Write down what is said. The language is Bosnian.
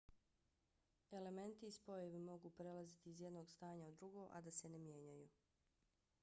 elementi i spojevi mogu prelaziti iz jednog stanja u drugo a da se ne mijenjaju